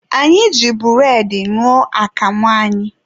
Anyị ji bụredị ṅụọ akamụ anyị.